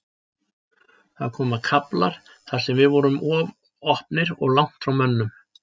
Það komu kaflar þar sem við vorum of opnir og langt frá mönnum.